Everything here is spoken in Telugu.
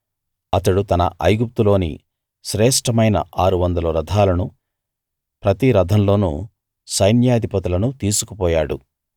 అతడు తన ఐగుప్తులోని శ్రేష్ఠమైన 600 రథాలను ప్రతి రథంలోనూ సైన్యాధిపతులను తీసుకు పోయాడు